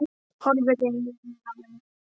Horfir inn í augun á henni.